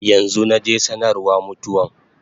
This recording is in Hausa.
Yanzu naje sanarwa mutuwan